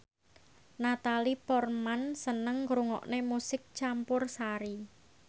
Natalie Portman seneng ngrungokne musik campursari